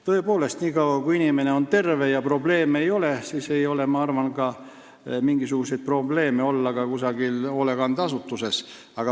Tõepoolest, nii kaua, kui inimene on terve ja probleeme pole, siis ei ole tal, ma arvan, ka mingi probleem olla kusagil hoolekandeasutuses.